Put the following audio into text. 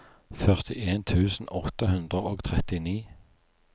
førtien tusen åtte hundre og trettini